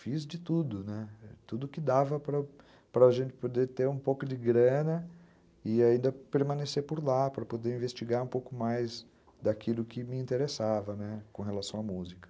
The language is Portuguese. Fiz de tudo, né, tudo que dava para a gente poder ter um pouco de grana e ainda permanecer por lá, para poder investigar um pouco mais daquilo que me interessava com relação à música.